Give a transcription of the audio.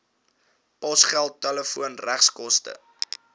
posgeld telefoon regskoste